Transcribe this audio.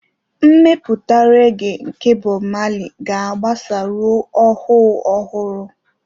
Mmetụta regee nke Bob Marley ga-agbasa ruo ọhụụ ọhụrụ.